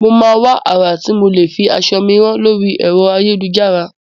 Mo máa wá àrà tí mo lè fi aṣọ mi rán lóri ẹ̀rọ ayélujára.